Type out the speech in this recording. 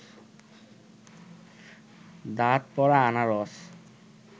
দাঁত পড়া আনারস